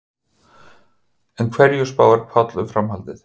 En hverju spáir Páll um framhaldið?